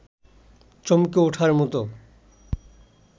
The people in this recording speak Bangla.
চমকে উঠার মতো